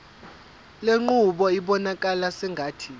lenqubo ibonakala sengathi